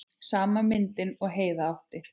Sama myndin og Heiða átti.